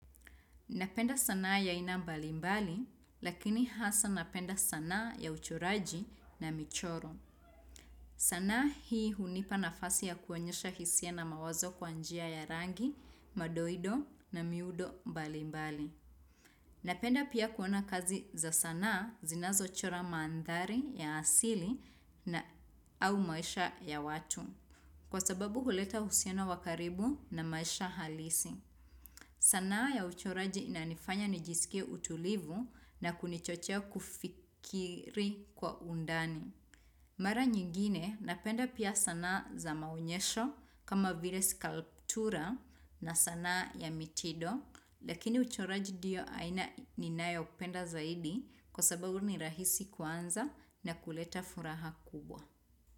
Napenda sanaa ya aina mbalimbali, lakini hasa napenda sanaa ya uchoraji na michoro. Sanaa hii hunipa nafasi ya kuonyesha hisia na mawazo kwa njia ya rangi, madoido na miudo mbalimbali. Napenda pia kuona kazi za sanaa zinazo chora maandhari ya asili na au maisha ya watu. Kwa sababu huleta uhusiano wa karibu na maisha halisi. Sanaa ya uchoraji inanifanya nijisikie utulivu na kunichochea kufikiri kwa undani. Mara nyingine napenda pia sanaa za maonyesho kama vile skalptura na sanaa ya mitindo. Lakini uchoraji ndiyo aina ninayo penda zaidi kwa sababu ni rahisi kuanza na kuleta furaha kubwa.